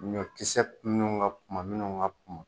Ɲɔkisɛ minnu ka kumba minnu ka kumba